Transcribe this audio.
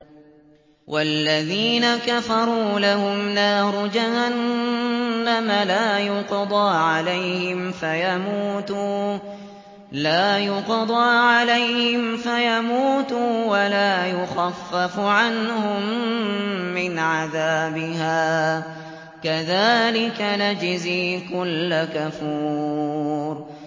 وَالَّذِينَ كَفَرُوا لَهُمْ نَارُ جَهَنَّمَ لَا يُقْضَىٰ عَلَيْهِمْ فَيَمُوتُوا وَلَا يُخَفَّفُ عَنْهُم مِّنْ عَذَابِهَا ۚ كَذَٰلِكَ نَجْزِي كُلَّ كَفُورٍ